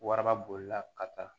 Waraba bolila ka taa